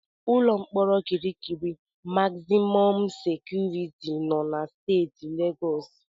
Ụlọ mkpọrọ Kirikiri magzimọm sekuriti nọ na Steeti Legọs.